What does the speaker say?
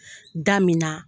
Da min na